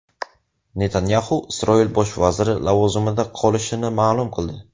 Netanyaxu Isroil bosh vaziri lavozimida qolishini ma’lum qildi.